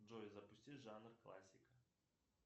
джой запусти жанр классика